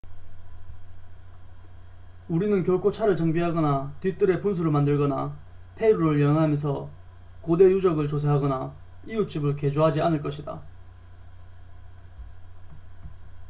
우리는 결코 차를 정비하거나 뒤뜰에 분수를 만들거나 페루를 여행하면서 고대 유적을 조사하거나 이웃집을 개조하지 않을 것이다